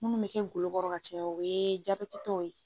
Munnu be kɛ golokɔrɔ ka caya o ye jabɛtitɔw ye